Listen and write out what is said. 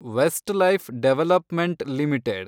Westlife development limited